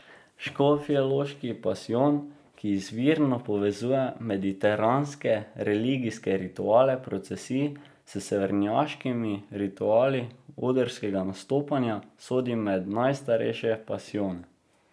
Škofjeloški pasijon, ki izvirno povezuje mediteranske religijske rituale procesij s severnjaškimi rituali odrskega nastopanja, sodi med najstarejše pasijone.